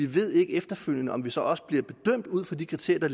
ved efterfølgende om de så også bliver bedømt ud fra de kriterier